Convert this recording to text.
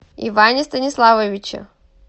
иване станиславовиче